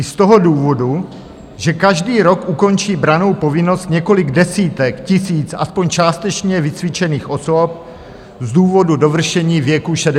I z toho důvodu, že každý rok ukončí brannou povinnost několik desítek tisíc aspoň částečně vycvičených osob z důvodu dovršení věku 60 let.